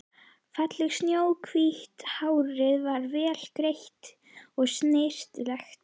Fallegt snjóhvítt hárið var vel greitt og snyrtilegt.